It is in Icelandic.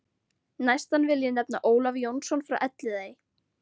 Næstan vil ég nefna Ólaf Jónsson frá Elliðaey.